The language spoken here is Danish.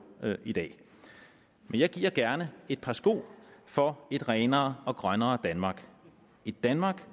i dag jeg giver gerne et par sko for et renere og grønnere danmark et danmark